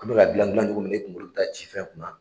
An bɛ k'a dilan dilancogo min na i kuŋolo bi taa ci fɛn kun na